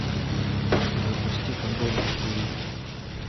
запусти футбол на тиви